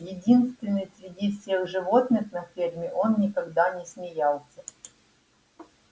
единственный среди всех животных на ферме он никогда не смеялся